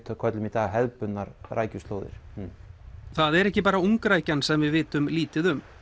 köllum í dag hefðbundnar rækjuslóðir það er ekki bara sem við vitum lítið um